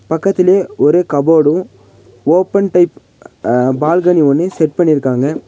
பக்கத்திலேயே ஒரு கப்போர்டும் ஓபன் டைப் அ பால்கனி ஒன்னு செட் பண்ணிருக்காங்க.